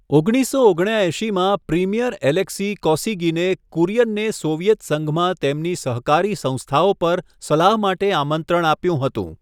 ઓગણીસસો ઓગણ્યાએંશીમાં, premier Alexei કોસિગિને કુરિયનને સોવિયેત સંઘમાં તેમની સહકારી સંસ્થાઓ પર સલાહ માટે આમંત્રણ આપ્યું હતું.